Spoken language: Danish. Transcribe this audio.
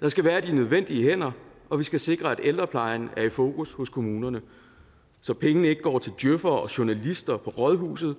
der skal være de nødvendige hænder og vi skal sikre at ældreplejen er i fokus hos kommunerne så pengene ikke går til djøfere og journalister på rådhuset